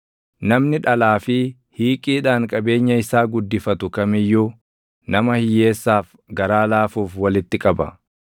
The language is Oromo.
Namni dhalaa fi hiiqiidhaan qabeenya isaa guddifatu kam iyyuu, nama hiyyeessaaf garaa laafuuf walitti qaba.